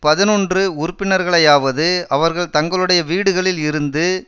பதினொன்று உறுப்பினர்களையாவது அவர்கள் தங்களுடைய வீடுகளில் இருந்து